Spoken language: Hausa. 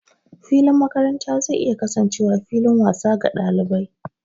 Filin makaranta zai iya kasancewa fillin wasa ga ɗalibai.